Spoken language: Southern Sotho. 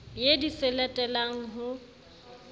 ye di se latelane ho